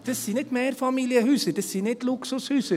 Das sind nicht Mehrfamilienhäuser, das sind nicht Luxushäuser.